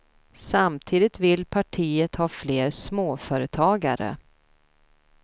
Samtidigt vill partiet ha fler småföretagare.